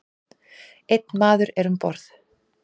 Einn maður er um borð.